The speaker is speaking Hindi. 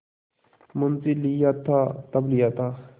मुंशीलिया था तब लिया था